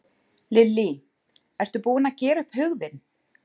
Lillý: Ertu búinn að gera upp hug þinn?